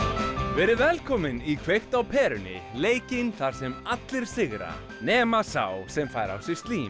verið velkomin í kveikt á perunni leikinn þar sem allir sigra nema sá sem fær á sig slím